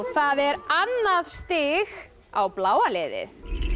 það er annað stig á bláa liðið